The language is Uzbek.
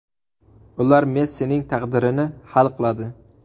Ular Messining taqdirini hal qiladi.